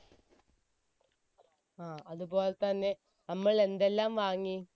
അതുപോലെ തന്നെ നമ്മൾ എന്തെല്ലാം വാങ്ങി